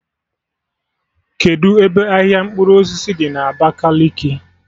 Kedụ ebe ahịa mkpụrụ osisi dị na Abakaliki?